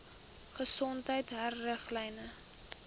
gesondheidriglyne